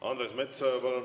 Andres Metsoja, palun!